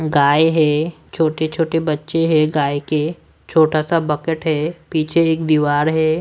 गाय है छोटे छोटे बच्चे हैं गाय के छोटा सा बकेट है पीछे एक दीवार है।